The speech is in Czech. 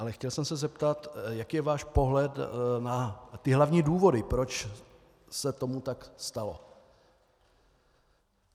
Ale chtěl jsem se zeptat, jaký je váš pohled na ty hlavní důvody, proč se tomu tak stalo.